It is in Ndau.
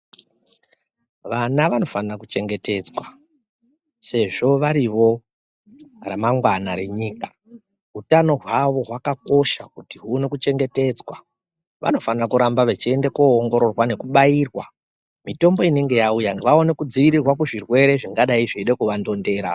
Vana vanofanira kuchengetedzwa sezvo varivo ramangwani renyika utano hwavo hwakakosha uone kuchengetedzwa vanofanira kuramba veienda koongororwa nekubairwa mitombo inenge yauya vaone kudziirirwa kuzvirwere zvingadai zvingadai zvichida kuvandondera.